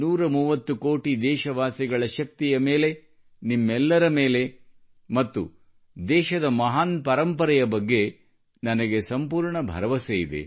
130 ಕೋಟಿ ದೇಶವಾಸಿಗಳ ಶಕ್ತಿಯ ಮೇಲೆ ನಿಮ್ಮೆಲ್ಲರ ಮೇಲೆ ಮತ್ತು ದೇಶದ ಮಹಾನ್ ಪರಂಪರೆಯ ಬಗ್ಗೆ ನನಗೆ ಸಂಪೂರ್ಣ ಭರವಸೆ ಇದೆ